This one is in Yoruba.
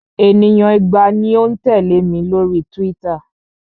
Ènìyàn igba ni ó ń tẹ̀lẹ́ mi lórí Twitter.